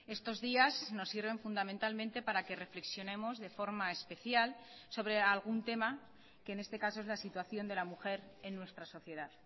estos días nos sirven fundamentalmente para que reflexionemos de forma especial sobre algún tema que en este caso es la situación de la mujer en nuestra sociedad